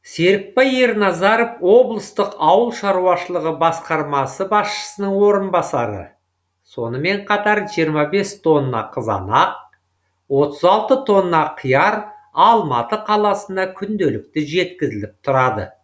серікбай ерназаров облыстық ауыл шаруашылығы басқармасы басшысының орынбасары сонымен қатар жиырма тонна қызанақ отыз алты тонна қияр алматы қаласына күнделікті жеткізіліп тұрады